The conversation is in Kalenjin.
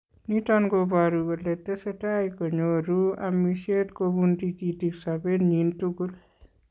Niton koboru kolee tesetai konyoruu amisyeet kobun tikitiik sobeenyin tukul.